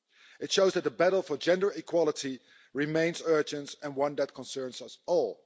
It shows that the battle for gender equality remains urgent and one that concerns us all.